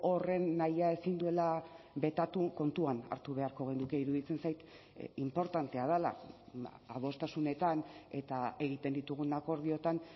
horren nahia ezin duela betatu kontuan hartu beharko genuke iruditzen zait inportantea dela adostasunetan eta egiten ditugun akordioetan